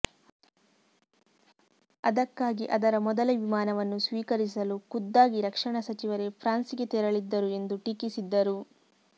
ಅದಕ್ಕಾಗಿ ಅದರ ಮೊದಲ ವಿಮಾನವನ್ನು ಸ್ವೀಕರಿಸಲು ಖುದ್ದಾಗಿ ರಕ್ಷಣಾ ಸಚಿವರೇ ಫ್ರಾನ್ಸ್ಗೆ ತೆರಳಿದ್ದರು ಎಂದು ಟೀಕಿಸಿದ್ದರು